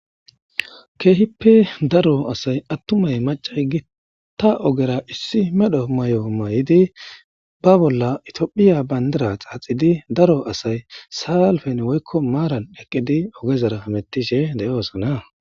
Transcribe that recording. keehippe daro asay attumay macay gi ta ogera issi medho may7o mayidi ba bolla itiophiya bayndara xaaxidi daro asay saalfen woykko maaran eqqidi ogezara mettishe de7oosona